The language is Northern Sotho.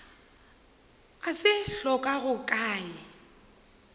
a se hlokago ka ye